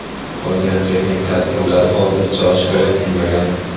Qolgan texnik tavsiflari hozircha oshkor etilmagan.